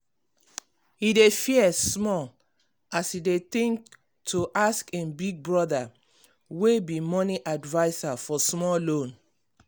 he dey fear small as e dey think to ask him big brother wey be money adviser for small loan.